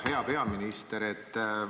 Hea peaminister!